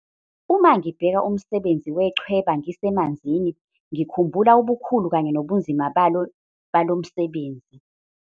Uma ngibheka umsebenzi wechweba ngisemanzini, ngikhumbula ubukhulu kanye nobunzima balo msebenzi.